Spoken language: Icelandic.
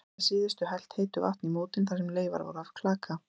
Var að síðustu helt heitu vatni í mótin þar sem leifar voru af klaka.